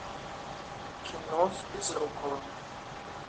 кино с безруковым